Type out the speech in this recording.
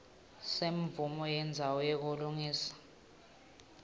semvumo yendzawo yekulungiselela